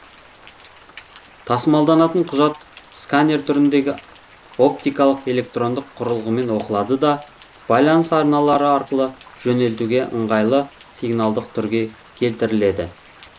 тасымалданатын құжат сканер түріндегі оптикалық электрондық құрылғымен оқылады да байланыс арналары арқылы жөнелтуге ыңғайлы сигналдық түрге келтіріледі